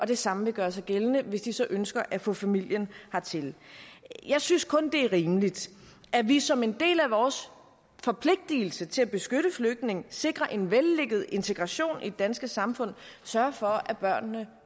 det samme vil gøre sig gældende hvis de så ønsker at få familien hertil jeg synes kun det er rimeligt at vi som en del af vores forpligtigelse til at beskytte flygtningene sikre en vellykket integration i det danske samfund sørger for at børnene